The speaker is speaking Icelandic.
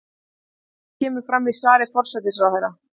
Þetta kemur fram í svari forsætisráðherra